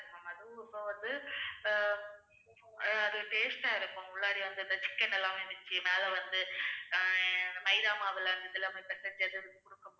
அப்புறம் வந்து அஹ் அது taste ஆ இருக்கும். உள்ளார வந்து அந்த chicken எல்லாமே வச்சு மேல வந்து அஹ் மைதா மாவுல அந்த இதெல்லாம் பிசைஞ்சு அத குடுக்கும்போது